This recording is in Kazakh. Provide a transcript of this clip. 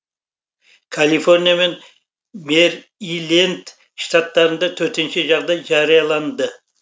калифорния мен мэриленд штаттарында төтенше жағдай жарияланды